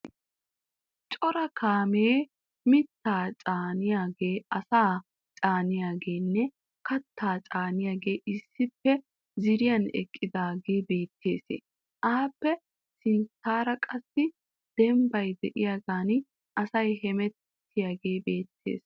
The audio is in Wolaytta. Cora kaame mitta caaniyage, asaa caaniyagenne kattaa caaniyagee issippe ziiriyan eqqidaage beettes. Appe sinttaara qassi dembbay diyagan asay hemettiyagee beettes.